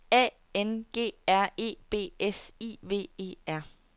A N G R E B S I V E R